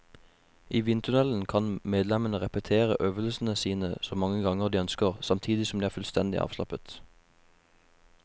I vindtunnelen kan medlemmene repetere øvelsene sine så mange ganger de ønsker, samtidig som de er fullstendig avslappet.